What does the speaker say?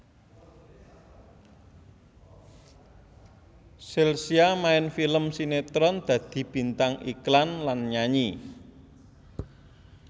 Chelsea main film sinetron dadi bintang iklan lan nyanyi